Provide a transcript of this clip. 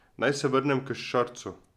Naj se vrnem k Šarcu.